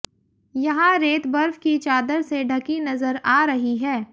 यहां रेत बर्फ की चादर से ढकी नजर आ रही है